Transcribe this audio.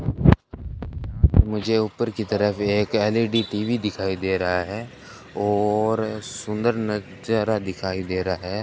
यहां पे मुझे ऊपर की तरफ एक एल_ई_डी टी_वी दिखाई दे रहा है और सुंदर नजारा दिखाई दे रहा है।